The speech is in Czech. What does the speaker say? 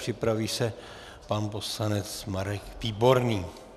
Připraví se pan poslanec Marek Výborný.